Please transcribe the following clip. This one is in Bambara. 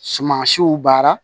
Suman siw baara